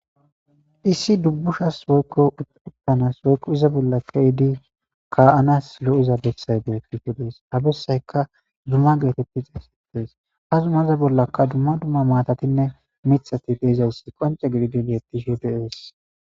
Issi dubbushas woykko uttanas woykko iza bolla kaidi ka'anas lo'eza bessay beetisho dees habessayka dumma geetetti xayssittees hazumaza bollakka dumma dumma maatatinne mithati deezawussi qonce gididibi ettishe deees